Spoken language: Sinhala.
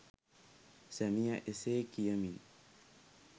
සැමියා එසේ කියමින්